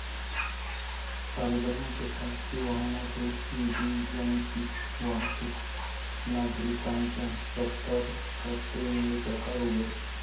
पालघरमध्ये खाजगी वाहनातून ईव्हीएमची वाहतूक, नागरिकांच्या सतर्कतेमुळे प्रकार उघड